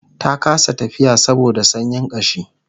ta kasa tafiya saboda sanyin kashi